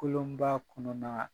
Kolonba kɔnɔnaa